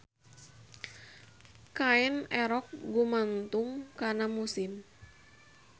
Kaen erok gumantung kana musim.